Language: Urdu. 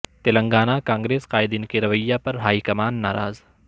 تلنگانہ کانگریس قائدین کے رویہ پر ہائی کمان ناراض